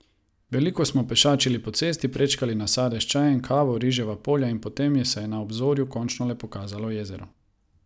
Veliko smo pešačili po cesti, prečkali nasade s čajem, kavo, riževa polja in potem se je na obzorju končno le pokazalo jezero.